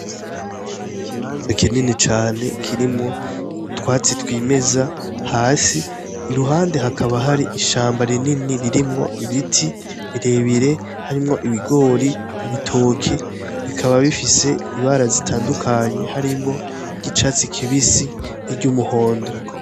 Ikibanza kinini cane kirimwo utwatsi twimeza hasi, iruhande hakaba hari ishamba rinini ririmwo ibiti birebire harimwo ibigori, ibitoke. Bikaba bifise ibara zitandukanye, harimwo iry'icatsi kibisi n'iryumuhondo.